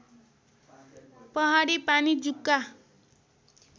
पहाडी पानी जुका